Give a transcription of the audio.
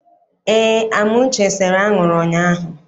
Eé, Amuche sere anwụrụ ụnyaahụ.